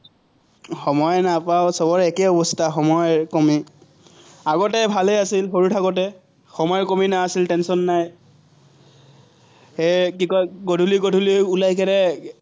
সময়ে নাপাওঁ, চবৰে একেই অৱস্থা, সময় কমেই। আগতে ভালে আছিল, সৰু থাকোতে। সময়ৰ নাছিল, tension নাই। হে কি কয়, গধুলি গধুলি ওলাই